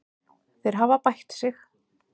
Þeir hafa bætt sig.